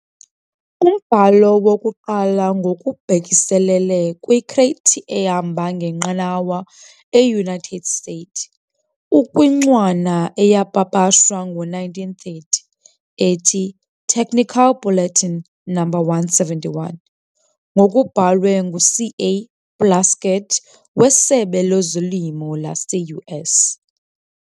Umbhalo wokuqala ngokubhekiselele kwi-crate ehamba ngenqanawa e-United States ukwincwana eyapapashwa ngo-1930, ethi "Technical Bulletin No. 171" ngokubhalwe ngu-C. A. Plaskett wesebe leZolimo lase-US.